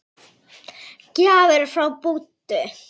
Gjafir frá Búddu.